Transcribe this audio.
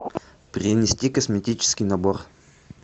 принести косметический набор